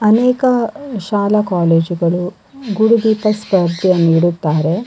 ಅನೇಕ ಅಹ್ ಶಾಲಾ ಕಾಲೇಜುಗಳು ಗೂಡುದೀಪ ಸ್ಪರ್ಧೆಯನ್ನು ಇಡುತ್ತಾರೆ --